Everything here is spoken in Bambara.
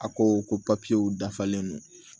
A ko ko papiyew dafalen don